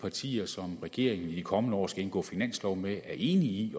partier som regeringen i de kommende år skal indgå finanslov med er enige i